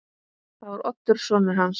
Það var Oddur sonur hans.